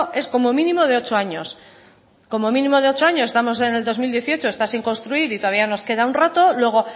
es como mínimo de ocho años como mínimo de ocho años estamos en el dos mil dieciocho está sin construir y todavía nos queda un rato luego